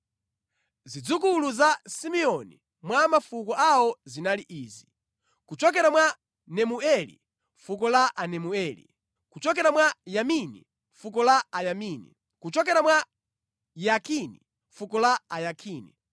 Zidzukulu za Simeoni mwa mafuko awo zinali izi: kuchokera mwa Nemueli, fuko la Anemuele; kuchokera mwa Yamini, fuko la Ayamini; kuchokera mwa Yakini fuko la Ayakini;